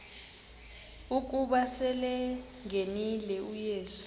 ukuba selengenile uyesu